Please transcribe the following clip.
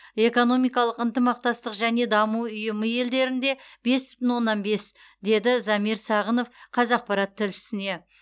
экономикалық ынтымақтастық және даму ұйымы елдерінде бес бүтін оннан бес деді замир сағынов қазақпарат тілшісіне